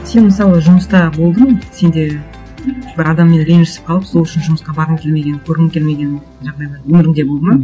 сен мысалы жұмыста болдың сенде бір адаммен ренжісіп қалып сол үшін жұмысқа барғың келмеген көргің келмеген жағдайлар өміріңде болды ма